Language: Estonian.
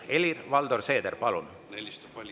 Helir-Valdor Seeder, palun!